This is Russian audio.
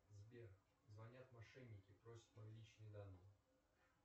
сбер звонят мошенники просят мои личные данные